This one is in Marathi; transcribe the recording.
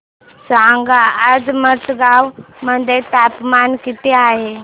सांगा आज मडगाव मध्ये तापमान किती आहे